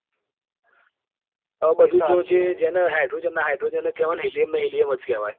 હવે બધું તો જે જેને hydrogen ને hydrogen જ કેવાય ને helium ને helium જ કેવાય.